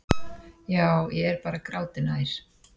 Já, ég er bara gráti nær.